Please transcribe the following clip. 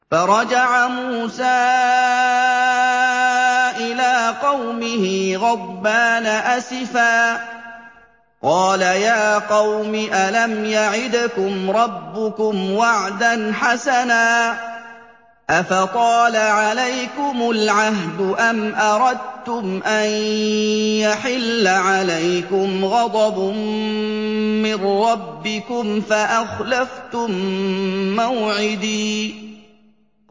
فَرَجَعَ مُوسَىٰ إِلَىٰ قَوْمِهِ غَضْبَانَ أَسِفًا ۚ قَالَ يَا قَوْمِ أَلَمْ يَعِدْكُمْ رَبُّكُمْ وَعْدًا حَسَنًا ۚ أَفَطَالَ عَلَيْكُمُ الْعَهْدُ أَمْ أَرَدتُّمْ أَن يَحِلَّ عَلَيْكُمْ غَضَبٌ مِّن رَّبِّكُمْ فَأَخْلَفْتُم مَّوْعِدِي